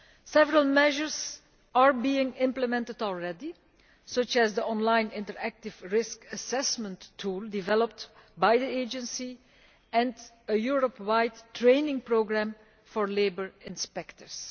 Several measures are being implemented already, such as the online interactive risk assessment tool developed by the Agency and a Europe wide training programme for labour inspectors.